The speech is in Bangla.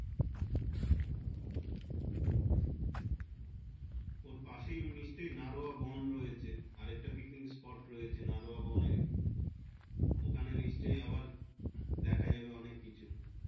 ওর পাশে নিশ্চয় নারোয়া বন হয়েছে আর একটা picnic spot রয়েছে নারোয়া বন এর ওখানে নিশ্চয় আবার দেখা যাবে অনেককিছু